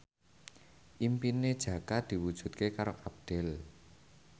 impine Jaka diwujudke karo Abdel